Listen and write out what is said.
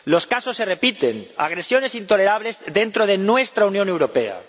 Los casos se repiten agresiones intolerables dentro de nuestra Unión Europea.